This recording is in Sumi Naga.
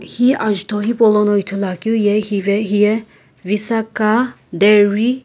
hi azuto hipo lono ithulu keu ye visaka dari.